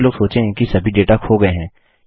अधिकतर लोग सोचेंगे कि सभी डेट खो गया है